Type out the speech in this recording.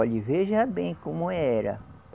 Olhe, veja bem como era.